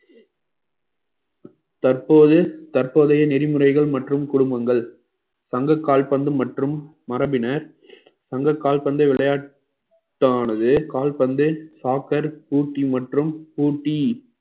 தற்போது தற்போதைய நெறிமுறைகள் மற்றும் குடும்பங்கள் பந்து கால் பந்து மற்றும் மரபினர் தங்க கால்பந்து விளையாட்டானது கால்பந்து soccer பூட்டி மற்றும் பூட்டி